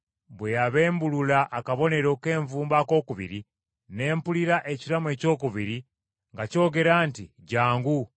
Bwe yabembulula akabonero k’envumbo akookubiri, ne mpulira ekiramu ekyokubiri nga kyogera nti, “Jjangu!”